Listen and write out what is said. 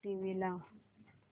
TV लाव